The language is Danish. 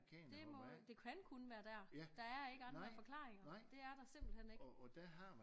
Det må det kan kun være dér der er ikke andre forklaringer det er der simpelthen ikke